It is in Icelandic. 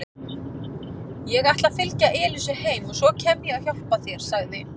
Ég ætla að fylgja Elísu heim og svo kem ég og hjálpa þér sagði